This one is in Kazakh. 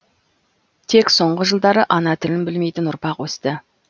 тек соңғы жылдары ана тілін білмейтін ұрпақ өсті